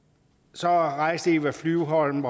så rejste eva flyvholm